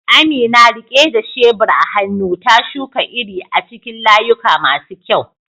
Amina, rike da shebur a hannu, ta shuka iri a cikin layuka masu kyau.